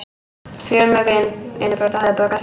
Fjölmörg innbrot á höfuðborgarsvæðinu